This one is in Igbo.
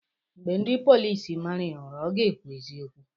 Mgbe ndị polisi mara ya ụra ka ọ ga-ekwu eziokeu